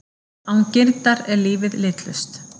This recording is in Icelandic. Án girndar er lífið litlaust.